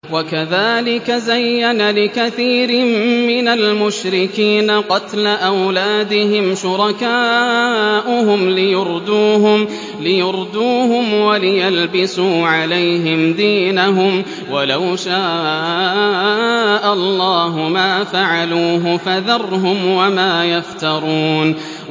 وَكَذَٰلِكَ زَيَّنَ لِكَثِيرٍ مِّنَ الْمُشْرِكِينَ قَتْلَ أَوْلَادِهِمْ شُرَكَاؤُهُمْ لِيُرْدُوهُمْ وَلِيَلْبِسُوا عَلَيْهِمْ دِينَهُمْ ۖ وَلَوْ شَاءَ اللَّهُ مَا فَعَلُوهُ ۖ فَذَرْهُمْ وَمَا يَفْتَرُونَ